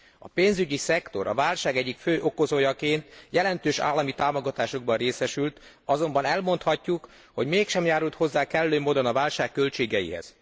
A pénzügyi szektor a válság egyik fő okozójaként jelentős állami támogatásokban részesült, azonban elmondhatjuk, hogy mégsem járult hozzá kellő módon a válság költségeihez.